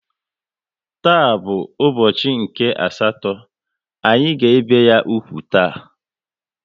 Taa bụ ụbọchị nke asatọ, anyị ga ebi ya úgwù taa